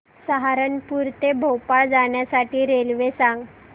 सहारनपुर ते भोपाळ जाण्यासाठी रेल्वे सांग